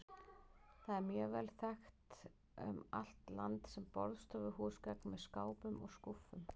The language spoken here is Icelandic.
Það er mjög vel þekkt um allt land sem borðstofuhúsgagn með skápum og skúffum.